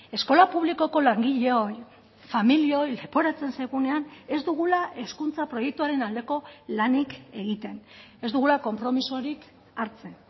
eskola publikoko langileoi familioi leporatzen zaigunean ez dugula hezkuntza proiektuaren aldeko lanik egiten ez dugula konpromisorik hartzen